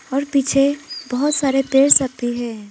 और पीछे बहुत सारे पेड़ सब भी हैं।